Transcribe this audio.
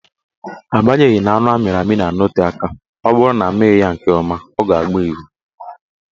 Agbanyeghi na anụ amịrị amị na-anọte aka, ọ bụrụ na amịghị ya nke ọma, ọ ga-agba evu